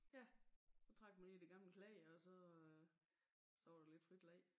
Ja så trak man lige i de gamle klæder og så øh så var der lidt frit leg